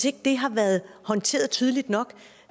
ikke har været håndteret tydeligt nok